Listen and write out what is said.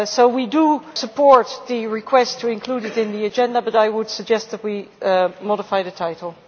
We support the request to include it on the agenda, but I would suggest that we modify the title.